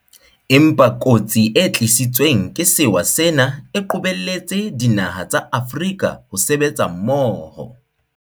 Empa kotsi e tlisitsweng ke sewa sena e qobelletse dinaha tsa Afrika ho sebetsa mmoho.